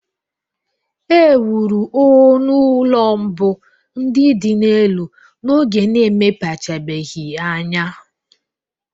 E wuru onu ulọ mbụ ndị dị n'elu n'oge na-emepechabeghị anya